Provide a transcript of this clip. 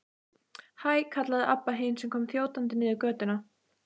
Hæ, kallaði Abba hin sem kom þjótandi niður götuna.